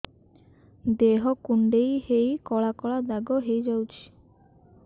ଦେହ କୁଣ୍ଡେଇ ହେଇ କଳା କଳା ଦାଗ ହେଇଯାଉଛି